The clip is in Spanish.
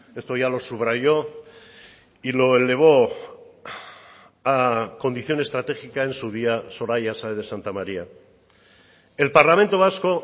esto ya lo subrayó y lo elevó a condición estratégica en su día soraya sáez de santamaría el parlamento vasco